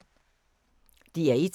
DR1